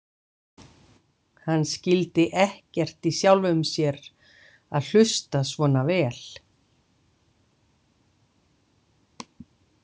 Hann skildi ekkert í sjálfum sér að hlusta svona vel.